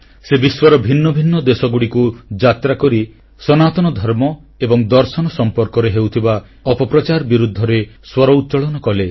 ସେ ବିଶ୍ୱର ଭିନ୍ନଭିନ୍ନ ଦେଶଗୁଡ଼ିକୁ ଯାତ୍ରାକରି ସନାତନ ଧର୍ମ ଏବଂ ଦର୍ଶନ ସମ୍ପର୍କରେ ହେଉଥିବା ଅପପ୍ରଚାର ବିରୁଦ୍ଧରେ ସ୍ୱର ଉତ୍ତୋଳନ କଲେ